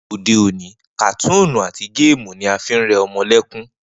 Ni òde òní, kàtúùnù àti géèmù ni a fi ń re̩ o̩mo̩ lé̩kún